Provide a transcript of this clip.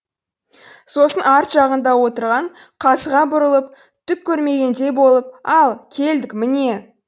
сосын арт жағында отырған қазыға бұрылып түк көрмегендей болып ал келдік міне